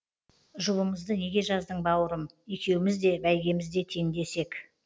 жұбымызды неге жаздың бауырым екеуміз де бәйгемізде теңдес ек